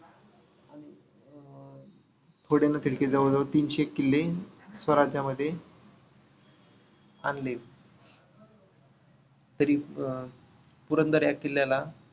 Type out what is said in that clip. जवळ जवळ तीनशे किल्ले स्वराज्यामध्ये आणले. तरी अं पुरंदर ह्या किल्ल्याला